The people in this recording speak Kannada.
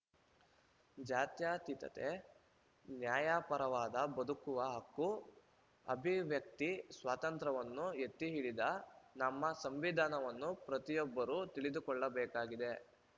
ಜಾತ್ಯಾತೀತತೆ ನ್ಯಾಯಪರವಾದ ಬದುಕುವ ಹಕ್ಕು ಅಭಿವ್ಯಕ್ತಿ ಸ್ವಾತಂತ್ರ್ಯವನ್ನು ಎತ್ತಿಹಿಡಿದ ನಮ್ಮ ಸಂವಿಧಾನವನ್ನು ಪ್ರತಿಯೊಬ್ಬರೂ ತಿಳಿದುಕೊಳ್ಳಬೇಕಾಗಿದೆ